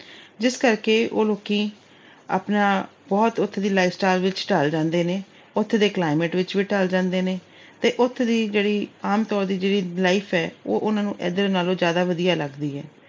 ਜਿਸ ਕਰਕੇ ਉਹ ਲੋਕੀ ਬਹੁਤ ਆਪਣਾ ਉੱਥੋਂ ਦੀ life style ਵਿੱਚ ਢਲ ਜਾਂਦੇ ਨੇ, ਉੱਥੇ ਦੇ climate ਵਿੱਚ ਵੀ ਢਲ ਜਾਂਦੇ ਨੇ ਤੇ ਉੱਥੋਂ ਦੀ ਜਿਹੜੀ ਆਮ ਤੌਰ ਦੀ life ਏ, ਉਹ ਉਹਨਾਂ ਨੂੰ ਇਧਰ ਨਾਲੋਂ ਜਿਆਦਾ ਵਧੀਆ ਲੱਗਦੀ ਏ।